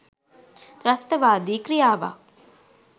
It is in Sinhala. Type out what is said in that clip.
ත්‍රස්තවාදි ක්‍රියාවක්.